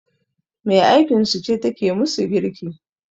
Me aikinsu ce take musu girki